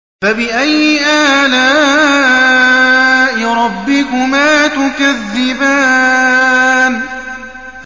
فَبِأَيِّ آلَاءِ رَبِّكُمَا تُكَذِّبَانِ